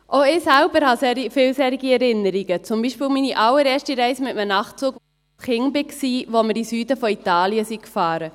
Auch ich selbst habe viele solche Erinnerungen, zum Beispiel an meine allererste Reise mit einem Nachtzug, als ich ein Kind war, als wir in den Süden von Italien fuhren.